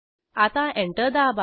आता एंटर दाबा